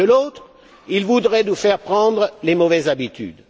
de l'autre, ils voudraient nous faire prendre de mauvaises habitudes.